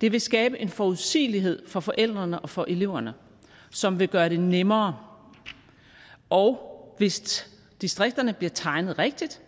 det vil skabe en forudsigelighed for forældrene og for eleverne som vil gøre det nemmere og hvis distrikterne bliver tegnet rigtigt